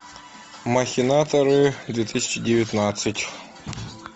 махинаторы две тысячи девятнадцать